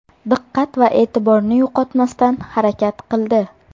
Diqqat va e’tiborni yo‘qotmasdan harakat qildi.